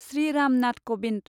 Shri Ram Nath Kovind